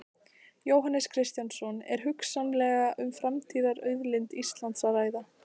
Jóhannes Kristjánsson: Er hugsanlega um framtíðarauðlind Íslands að ræða?